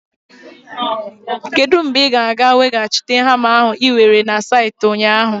Kedu mgbe ị ga-aga weghachite hama ahụ ị were na saịtị ụnyaahụ?